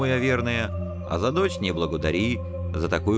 наверное а за дочь не благодари